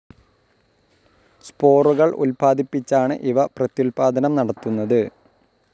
സ്പോറുകൾ ഉൽപ്പാദിപ്പിച്ചാണ് ഇവ പ്രത്യുല്പ്പാദനം നടത്തുന്നത്.